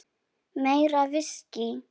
Meira viskí.